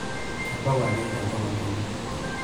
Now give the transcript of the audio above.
Kebau ake enkolong' enye.